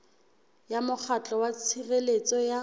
ya mokgatlo wa tshireletso ya